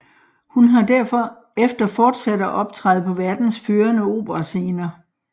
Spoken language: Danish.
Hun har derefter fortsat at optræde på verdens førende operascener